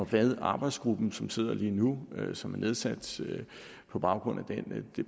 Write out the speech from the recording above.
hvad den arbejdsgruppe som sidder lige nu og som er nedsat på baggrund